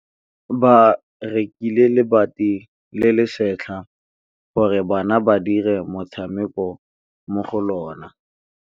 Ba rekile lebati le le setlha gore bana ba dire motshameko mo go lona.